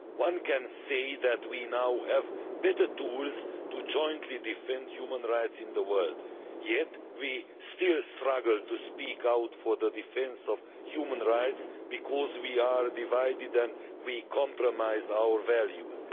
One can say that we now have better tools to jointly defend human rights in the world, yet we still struggle to speak out for the defence of human rights because we are divided and we compromise our values.